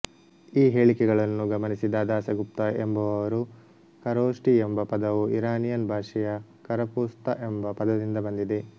ಈ ಹೇಳಿಕೆಗಳನ್ನು ಗಮನಿಸಿದ ದಾಸಗುಪ್ತ ಎಂಬುವವರು ಖರೋಷ್ಠಿ ಎಂಬ ಪದವು ಇರಾನಿಯನ್ ಭಾಷೆಯ ಖರಪೂಸ್ತ ಎಂಬ ಪದದಿಂದ ಬಂದಿದೆ